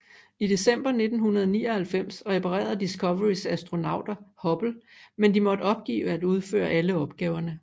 I december 1999 reparerede Discoverys astronauter Hubble men de måtte opgive at udføre alle opgaverne